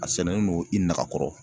A sɛnɛnen do i nɛgɛ kɔrɔ.